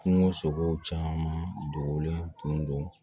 Kungo sogow caman dogolen tun don